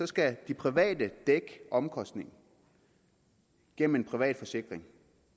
skal de private dække omkostningen gennem en privat forsikring